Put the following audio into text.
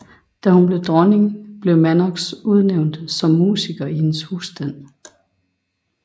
Da hun blev dronning blev Mannox udnævnt som musiker i hendes husstand